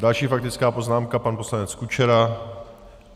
Další faktická poznámka, pan poslanec Kučera.